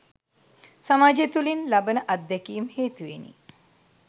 සමාජය තුළින් ලබන අත්දැකීම් හේතුවෙනි.